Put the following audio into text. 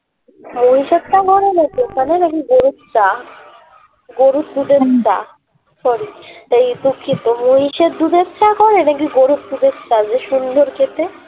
মহিষের চা করে নাকি ওখানে না কি গরুর চা গরুর দুধের চা sorry তাই দুঃখিত মহিষের দুধের চা করে না কি গরুর দুধের চা যে সুন্দর খেতে